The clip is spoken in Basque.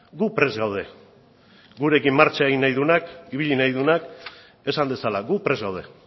gu prest gaude gurekin martxa egin nahi duenak ibili nahi duenak esan dezala gu prest gaude